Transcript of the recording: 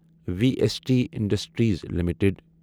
V S T industries limited